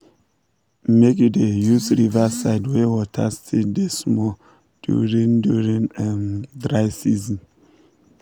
make you da use riverside wey water still da small during during um dry season